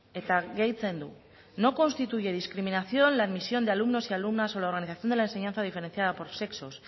eta gehitzen du no constituye discriminación la admisión de alumnos y alumnas o la organización de la enseñanza diferenciada por sexos